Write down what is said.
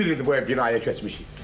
Düz bir ildir bu binaya köçmüşük.